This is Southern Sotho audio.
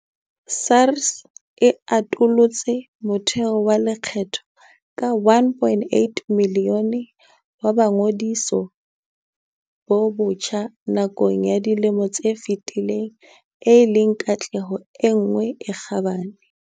SARS e atolotse motheo wa lekgetho ka 1.8 milione wa boingodiso bo botjha nakong ya dilemo tse fetileng e leng katleho e nngwe e kgabane.